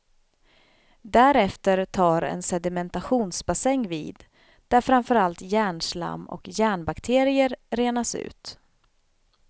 Därefter tar en sedimentationsbassäng vid, där framförallt järnslam och järnbakterier renas ut.